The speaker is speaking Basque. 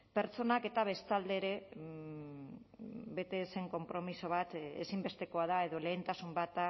pertsonak eta bestalde ere bete ez zen konpromiso bat ezinbestekoa da edo lehentasun bat